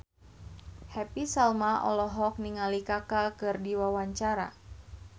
Happy Salma olohok ningali Kaka keur diwawancara